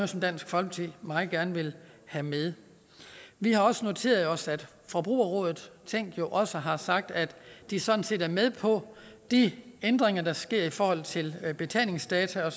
som dansk folkeparti meget gerne vil have med vi har også noteret os at forbrugerrådet tænk også har sagt at de sådan set er med på de ændringer der sker i forhold til betalingsdata